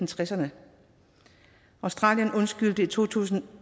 tresserne australien undskyldte i to tusind og